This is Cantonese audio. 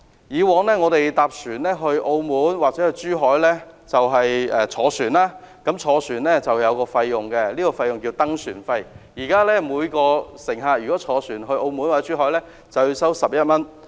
以往我們到澳門或珠海會乘船，但乘船需要支付一項費用，即登船費，現時每位乘客登船費為11元。